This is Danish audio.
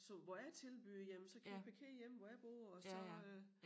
Så hvor jeg tilbyder jamen så kan I parkere hjemme hvor jeg bor og så øh